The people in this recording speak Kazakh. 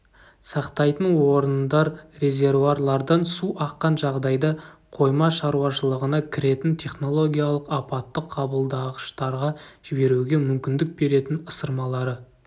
сақтайтын орындар-резервуарлардан су аққан жағдайда қойма шаруашылығына кіретін технологиялық апаттық қабылдағыштарға жіберуге мүмкіндік беретін ысырмалары